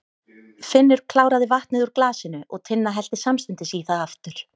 Finnur kláraði vatnið úr glasinu og Tinna hellti samstundis í það aftur.